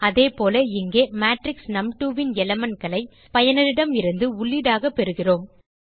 அதேபோல இங்கே மேட்ரிக்ஸ் நும்2 ன் elementகளை பயனரிடமிருந்து உள்ளீடாக பெறுகிறோம்